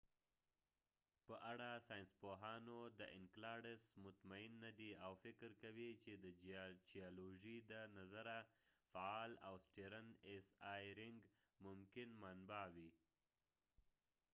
ساینسپوهانو د اینکلاډسenceladus په اړه مطمین نه دي او فکر کوي چې د چېالوژی د نظره فعال او د سیټرن ایسی ای رینګ saturn's icy e ring ممکنه منبع وي